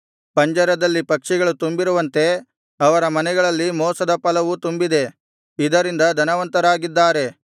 ಪಂಜರದಲ್ಲಿ ಪಕ್ಷಿಗಳು ತುಂಬಿರುವಂತೆ ಅವರ ಮನೆಗಳಲ್ಲಿ ಮೋಸದ ಫಲವು ತುಂಬಿದೆ ಇದರಿಂದ ಧನವಂತರಾಗಿದ್ದಾರೆ